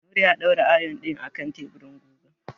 Nura ya daura ayon ɗin a kan teburin gugan.